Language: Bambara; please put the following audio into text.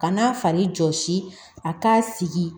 Ka n'a fari jɔsi a k'a sigi